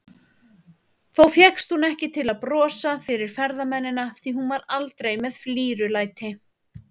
Þó fékkst hún ekki til að brosa fyrir ferðamennina, því hún var aldrei með flírulæti.